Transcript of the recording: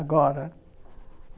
Agora.